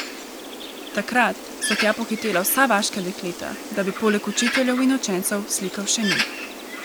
Takrat so tja pohitela vsa vaška dekleta, da bi poleg učiteljev in učencev slikal še njih.